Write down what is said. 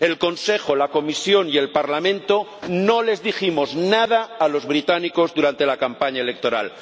El Consejo, la Comisión y el Parlamento no les dijimos nada a los británicos durante la campaña electoral.